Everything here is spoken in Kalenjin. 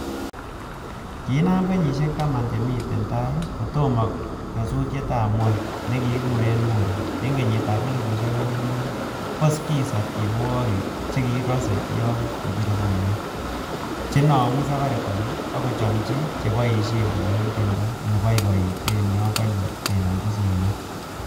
Kiinam kenyisiek taman chemiten tai kotomo nyosutietab Kwony nekikuren Mulu, en kenyitab elfusiek o'eng ak mut, ko skiza ko tienwogik che kikose yon kibire simoit chenomu Safaricom ak kochomchin cheboishen kolewen tiendo neiboiboite yon konye kenomchi simoit.